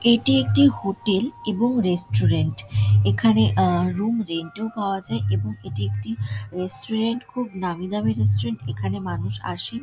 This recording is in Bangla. এটি একটি হোটেল এবং রেস্টুরেন্ট | এখানে আ রুম রেন্ট - ও পাওয়া যায় | এবং এটি একটি রেস্টুরেন্ট খুব নামি দামি রেস্টুরেন্ট | এখানে মানুষ আসে ।